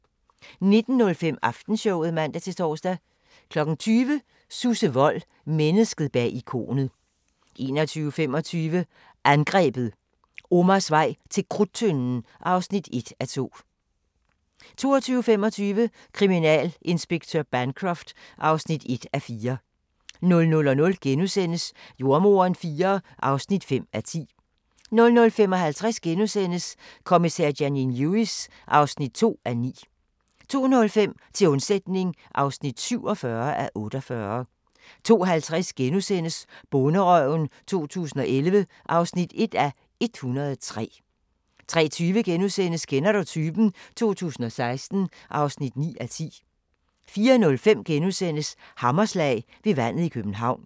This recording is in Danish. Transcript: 19:05: Aftenshowet (man-tor) 20:00: Susse Wold – Mennesket bag ikonet 21:25: Angrebet – Omars vej til Krudttønden (1:2) 22:25: Kriminalinspektør Bancroft (1:4) 00:00: Jordemoderen IV (5:10)* 00:55: Kommissær Janine Lewis (2:19)* 02:05: Til undsætning (47:48) 02:50: Bonderøven 2011 (1:103)* 03:20: Kender du typen? 2016 (9:10)* 04:05: Hammerslag – ved vandet i København *